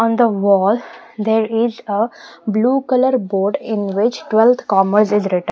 On the wall there is a blue color board in which twelfth commerce is written.